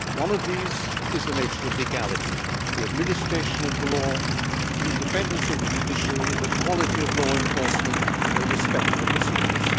One of these is the nature of legality, the administration of the law, the independence of the judiciary, the quality of law enforcement and respect for procedures.